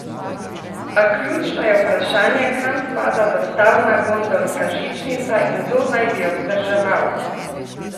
A ključno je vprašanje, kam spada dostavna gondolska žičnica in kdo naj bi jo vzdrževal?